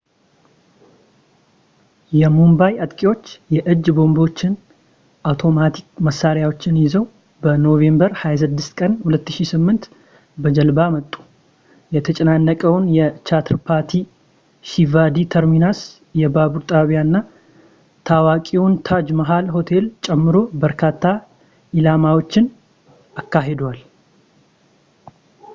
የሙምባይ አጥቂዎች የእጅ ቦምቦችን ፣ አውቶማቲክ መሣሪያዎችን ይዘው በኖቬምበር 26 ቀን 2008 በጀልባ መጡ ፣ የተጨናነቀውን የቻትራፓቲ ሺቫጂ ተርሚነስ የባቡር ጣቢያ እና ታዋቂውን ታጅ ማሃል ሆቴል ጨምሮ በርካታ ኢላማዎችን አካሂደዋል